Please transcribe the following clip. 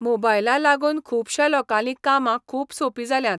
मोबायला लागून खुबशा लोकांलीं कामां खूब सोपी जाल्यात.